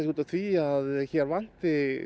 því að hér vanti